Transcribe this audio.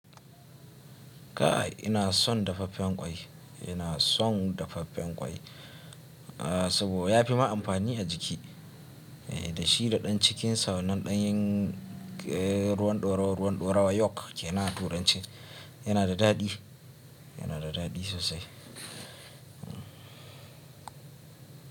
Kai ina son dafaffen ƙwai, ina son dafaffen ƙwai. A saboda ya fi ma amfani a jiki. Eh da shi da ɗan cikinsa wannan ɗanyen ruwan dorawa ruwan dorawa yolk kenan a turanci yana da daɗi, yana da daɗi sosai.